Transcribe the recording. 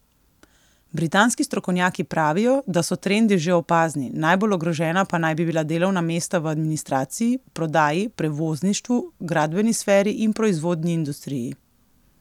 Britanski strokovnjaki pravijo, da so trendi že opazni, najbolj ogrožena pa naj bi bila delovna mesta v administraciji, prodaji, prevozništvu, gradbeni sferi in proizvodni industriji.